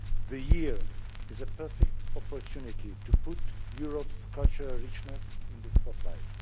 The year is a perfect opportunity to put Europe's cultural richness in the spotlight.